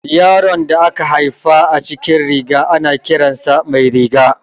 Yaron da aka haifa a cikin riga, ana kiran sa Mairiga.